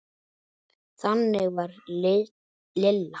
Þannig var Lilla.